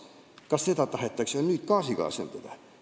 Kas seda tahetakse nüüd gaasiga asendada?